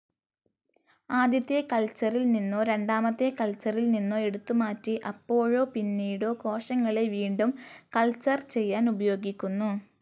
ആദ്യത്തെ കൾച്ചറിൽനിന്നോ, രണ്ടാമത്തെ കൾച്ചറിൽനിന്നോ എടുത്തുമാറ്റി അപ്പോഴോ പിന്നീടോ കോശങ്ങളെ വീണ്ടും കൾച്ചർ ചെയ്യാൻ ഉപയോഗിക്കുന്നു.